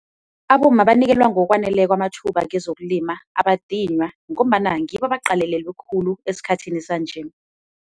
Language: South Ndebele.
Abomma banikelwa ngokwaneleko amathuba kezokulima abadinywa, ngombana ngibo abaqalelelwe khulu esikhathini sanje.